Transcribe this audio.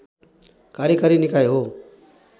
कार्यकारी निकाय हो